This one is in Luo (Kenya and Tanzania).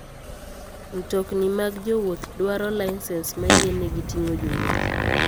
Mtokni mag jowuoth dwaro lisens mayienegi ting'o jowuoth.